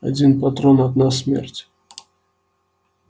один патрон одна смерть